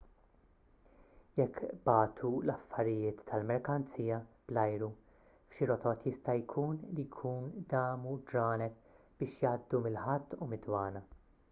jekk bagħtu l-affarijiet tal-merkanzija bl-ajru f'xi rotot jista' jkun li jkun damu ġranet biex jgħaddu mill-ħatt u mid-dwana